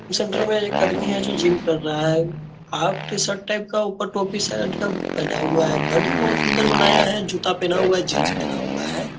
Centre में एक आदमी है जो जिम कर रहा है। हाल्फ टी-शर्ट टाइप का ऊपर टोपी साइड का पहना हुआ है। बॉडी बहुत सुन्दर बनाया है। जूता पहना हुआ है जीन्स पहना हुआ है।